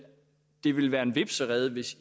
det vil være en hvepserede hvis